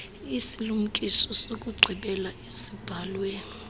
isilumkiso sokugqibela esibhalwe